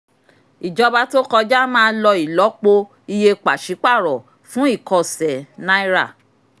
ìjọba tó kọjá máa lọ ìlọ́po iye pàṣípàrọ̀ fún ìkọ̀sẹ̀ náírà.